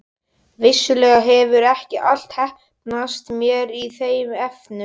Vissulega hefur ekki allt heppnast mér í þeim efnum.